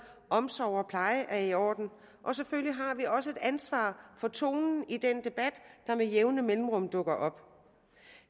at omsorg og pleje er i orden og selvfølgelig har vi også et ansvar for tonen i den debat der med jævne mellemrum dukker op